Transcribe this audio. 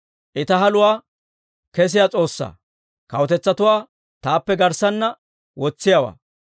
I ta haluwaa kessiyaa S'oossaa; kawutetsatuwaa taappe garssanna wotsiyaawaa.